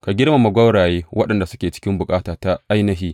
Ka girmama gwauraye waɗanda suke cikin bukata ta ainihi.